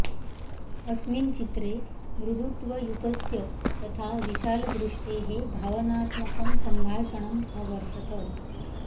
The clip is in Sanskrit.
अस्मिन् चित्रे मृदुत्वयुतस्य तथा विशालदृष्टेः भावनात्मकं सम्भाषणम् अवर्तत